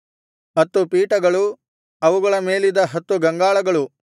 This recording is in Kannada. ಹತ್ತು ಪೀಠಗಳು ಅವುಗಳ ಮೇಲಿದ್ದ ಹತ್ತು ಗಂಗಾಳಗಳು